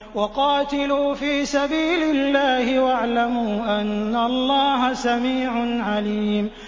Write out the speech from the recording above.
وَقَاتِلُوا فِي سَبِيلِ اللَّهِ وَاعْلَمُوا أَنَّ اللَّهَ سَمِيعٌ عَلِيمٌ